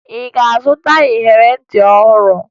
Ị zụtara iyeri ntị ọhụrụ?